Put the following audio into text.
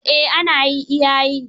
Eh ana yi iya yi.